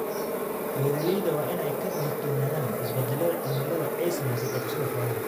Beeralayda waa in ay ka digtoonaadaan isbeddelka cimilada ee saameeya dhaqashada xoolaha.